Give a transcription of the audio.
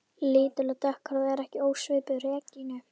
Lítil og dökkhærð og ekki ósvipuð Regínu